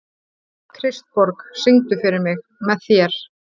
Kristborg, syngdu fyrir mig „Með þér“.